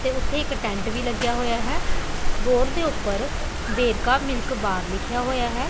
ਤੇ ਉੱਥੇ ਇੱਕ ਟੈਂਟ ਵੀ ਲੱਗਿਆ ਹੋਇਆ ਹੈ ਬੋਡ ਦੇ ਉੱਪਰ ਵੇਰਕਾ ਮਿਲਕ ਬਾਰ ਲਿਖਿਆ ਹੋਇਆ ਹੈ।